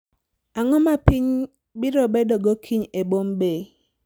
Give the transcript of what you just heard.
Ang'o ma piny biro bedogo kiny e Bombay